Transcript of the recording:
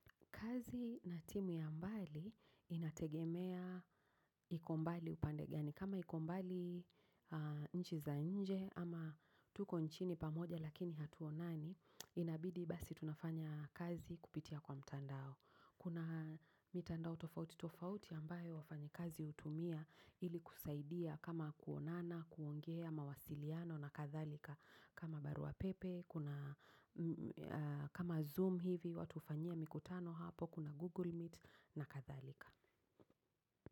Kazi na timu ya mbali inategemea iko mbali upande gani. Kama ikombali nchi za nje ama tuko nchini pamoja lakini hatuonani, inabidi basi tunafanya kazi kupitia kwa mtandao. Kuna mitandao tofauti, tofauti ambayo wafanyi kazi utumia ili kusaidia kama kuonana, kuongea mawasiliano na kathalika. Kama barua pepe, kama zoom hivi, watu ufanyia mikutano hapo, kuna google meet na kathalika.